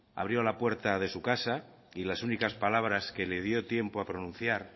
abrió la puerta de su casa y las únicas palabras que le dio tiempo a pronunciar